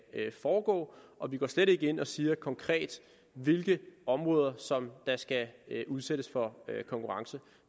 foregå og vi går slet ikke ind og siger konkret hvilke områder der skal udsættes for konkurrence